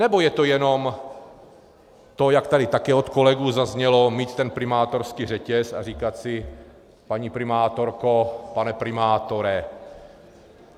Nebo je to jenom to, jak tady také od kolegů zaznělo, mít ten primátorský řetěz a říkat si paní primátorko, pane primátore.